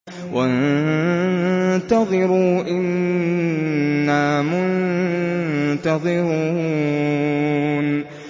وَانتَظِرُوا إِنَّا مُنتَظِرُونَ